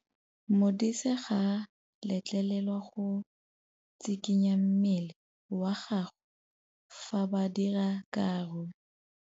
Modise ga a letlelelwa go tshikinya mmele wa gagwe fa ba dira karô.